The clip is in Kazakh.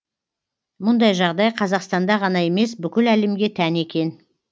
мұндай жағдай қазақстанда ғана емес бүкіл әлемге тән екен